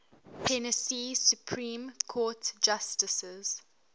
tennessee supreme court justices